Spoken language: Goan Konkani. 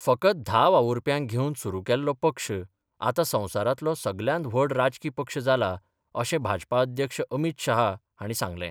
फकत धा वावुरप्यांक घेवन सुरू केल्लो पक्ष आतां संवसारातलो सगल्यांत व्हड राजकी पक्ष जाला अशें भाजपा अध्यक्ष अमीत शहा हाणी सांगलें.